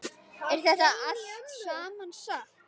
Er þetta allt saman satt?